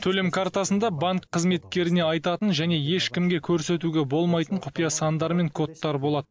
төлем картасында банк қызметкеріне айтатын және ешкімге көрсетуге болмайтын құпия сандар мен кодтар болады